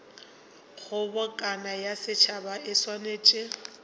kgobokano ya setšhaba e swanetše